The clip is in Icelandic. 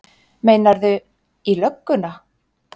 Meinarðu. í lögguna?